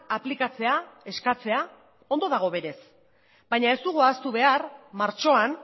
aplikatzea eskatzea ondo dago berez baina ez dugu ahaztu behar martxoan